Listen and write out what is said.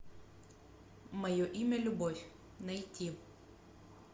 мое имя любовь найти